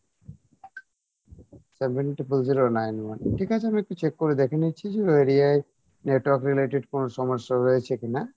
seven triple zero nine one ঠিক আছে আমি একটু check করে দেখে নিচ্ছি যে area ই network related কোনো সমস্যা হয়েছে কিনা